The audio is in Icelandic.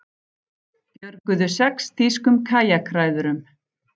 Björguðu sex þýskum kajakræðurum